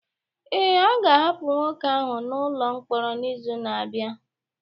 Ee, a ga-ahapụ nwoke ahụ n'ụlọ mkpọrọ n'izu na-abịa